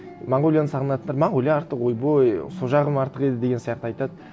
монғолияны сағынатындар монғолия артық ойбой сол жағым артық еді деген сияқты айтады